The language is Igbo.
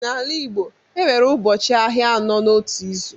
N’ala Igbo, e nwere ụbọchị ahịa anọ n’otu izu.